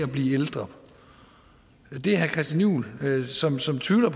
blive ældre er herre christian juhl som som tvivler